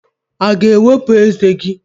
Ị ga-ewepụ ezé gị?